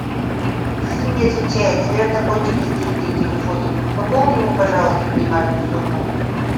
сын не отвечает наверное кончились деньги на телефоне пополни ему пожалуйста минимальную сумму